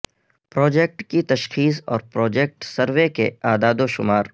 project کی تشخیص اور پروجیکٹ سروے کے اعداد و شمار